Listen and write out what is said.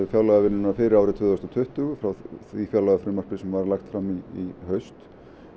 fjárlagavinnuna fyrir árið tvö þúsund og tuttugu frá því fjárlagafrumvarpi sem lagt var fram í haust